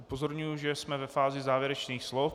Upozorňuji, že jsme ve fázi závěrečných slov.